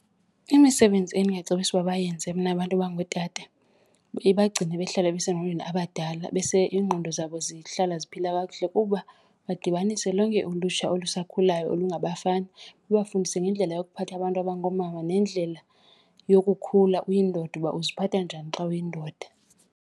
Imisebenzi endingacebisa ukuba bayenze mna abantu abangootata ibagcine bahlale besengqondweni abadala, iingqondo zabo zihlala ziphila kakuhle kuba badibanise lonke ulutsha olusakhulayo olungabafana, babafundise ngendlela yokuphatha abantu abangoomama nendlela yokukhula uyindoda uba uziphatha njani xa uyindoda.